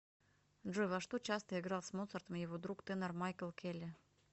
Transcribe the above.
джой во что часто играл с моцартом его друг тенор майкл келли